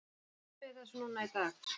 Hvert er markmiðið með þessu núna í dag?